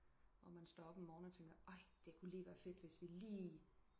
Når man står op om morgen og tænker ej det kunne være fedt hvis vi lige